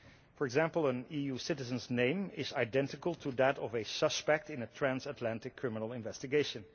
For example, an EU citizen's name is identical to that of a suspect in a transatlantic criminal investigation.